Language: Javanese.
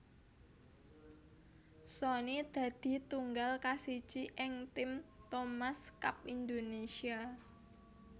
Sony dadi tunggal kasiji ing tim Thomas Cup Indonesia